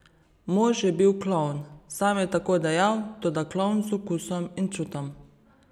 Mož je bil klovn, sam je tako dejal, toda klovn z okusom in čutom.